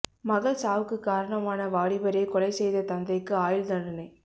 மகள் சாவுக்கு காரணமான வாலிபரை கொலை செய்த தந்தைக்கு ஆயுள் தண்டனை